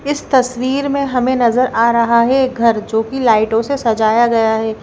इस तस्वीर में हमें नजर आ रहा है एक घर जो कि लाइटों से सजाया गया है।